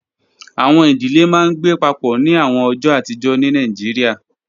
Awọn idile maa n gbe papọ ni awọn ọjọ atijọ ni Nigeria